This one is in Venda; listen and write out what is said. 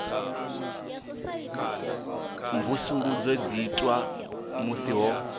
mvusuludzo dzi itwa musi ho